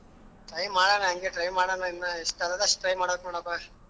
Try ಮಾಡಣ ಅಂಗೇ try ಮಾಡಣ ಇನ್ನ ಎಷ್ಟ್ ಆಗದಾ ಅಷ್ಟ್ try ಮಾಡದ್ ಕಣಪ್ಪಾ.